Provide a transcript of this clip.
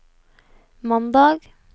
mandag